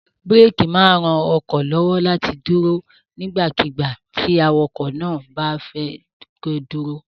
Búrékì máa ń ran ọkọ̀ lọ́wọ́ láti dúró nígbàkigbà tí awakọ̀ bá fẹ́ kí ó dúró.